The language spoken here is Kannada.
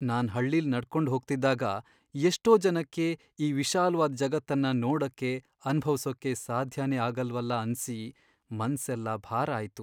ನಾನ್ ಹಳ್ಳಿಲ್ ನಡ್ಕೊಂಡ್ ಹೋಗ್ತಿದ್ದಾಗ, ಎಷ್ಟೋ ಜನಕ್ಕೆ ಈ ವಿಶಾಲ್ವಾದ್ ಜಗತ್ತನ್ನ ನೋಡಕ್ಕೆ, ಅನ್ಭವ್ಸೋಕೆ ಸಾಧ್ಯನೇ ಆಗಲ್ವಲ್ಲ ಅನ್ಸಿ ಮನ್ಸೆಲ್ಲ ಭಾರ ಆಯ್ತು.